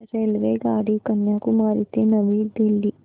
रेल्वेगाडी कन्याकुमारी ते नवी दिल्ली